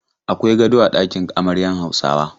Akwai gado a ɗakin amaryan Hausawa.